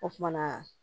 O kumana